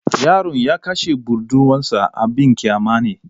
Yaron ya kashe budurwarsa abin kyama ne.